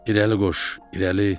İrəli qoş, irəli.